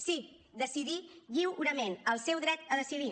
sí decidir lliurement el seu dret a decidir